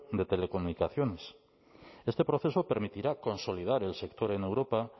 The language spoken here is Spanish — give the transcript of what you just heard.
de telecomunicaciones este proceso permitirá consolidar el sector en europa